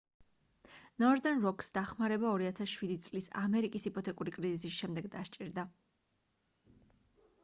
northern rock-ს დახმარება 2007 წლის ამერიკის იპოთეკური კრიზისის შემდეგ დასჭირდა